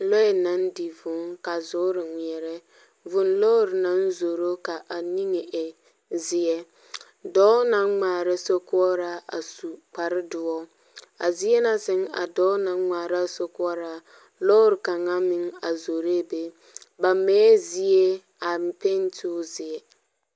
Lɔɛ naŋ di vūū ka zoore ŋmeɛrɛ Vūū lɔɔre naŋ zoro ka a niŋe e zeɛ. Dɔɔ naŋ ŋmaara sorkoɔraa a su kpardoɔ. A zie na sɛŋ a dɔɔ naŋ ŋmaara a sorkoɔraa, lɔɔr kaŋa a zoree be. Ba mɛɛ zie a me pente o zeɛ.